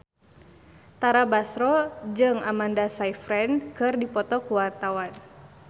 Tara Basro jeung Amanda Sayfried keur dipoto ku wartawan